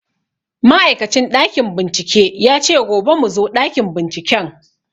Ma'aikacin ɗakin bincike ya ce gobe mu zo ɗakin binciken